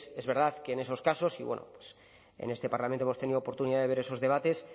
es verdad que en esos casos y bueno pues en este parlamento hemos tenido oportunidad de ver esos debates